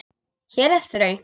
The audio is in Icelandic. Hér er þröngt.